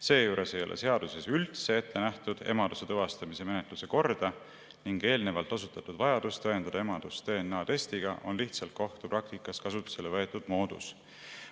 Seejuures ei ole seaduses üldse ette nähtud emaduse tuvastamise menetluse korda ning eelnevalt osutatud vajadus tõendada emadust DNA-testiga on lihtsalt kohtupraktikas kasutusele võetud moodus.